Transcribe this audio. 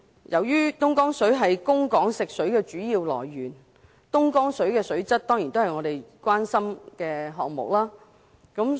由於東江水是供港食水的主要來源，其水質當然備受關注。